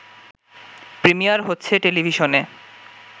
premier হচ্ছে টেলিভিশনে